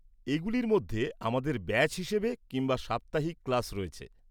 এগুলির মধ্যে আমাদের ব্যাচ হিসেবে কিংবা সাপ্তাহিক ক্লাস রয়েছে।